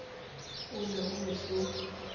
o ne o e so